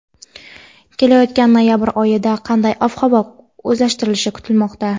Kelayotgan noyabr oyida qanday ob-havo o‘zgarishlari kutilmoqda?.